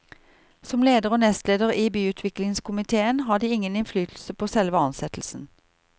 Som leder og nestleder i byutviklingskomitéen har de ingen innflytelse på selve ansettelsen.